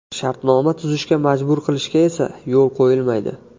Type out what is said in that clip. Shartnoma tuzishga majbur qilishga esa yo‘l qo‘yilmaydi.